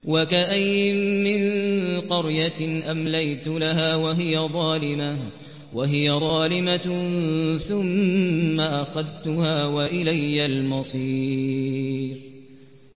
وَكَأَيِّن مِّن قَرْيَةٍ أَمْلَيْتُ لَهَا وَهِيَ ظَالِمَةٌ ثُمَّ أَخَذْتُهَا وَإِلَيَّ الْمَصِيرُ